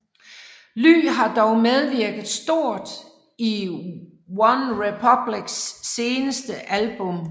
Ly har dog medvirket stort i Onerepublics seneste album